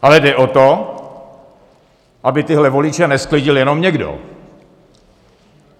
Ale jde o to, aby tyhle voliče nesklidil jenom někdo.